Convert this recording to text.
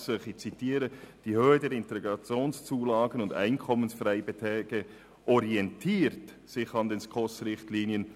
Die Höhe der Integrationszulagen und Einkommensfreibeträge orientiert sich an den SKOS-Richtlinien.»